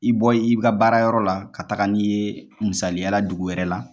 I bɔ i ka baara yɔrɔ la ka taga n'i ye , misaliya dugu wɛrɛ la.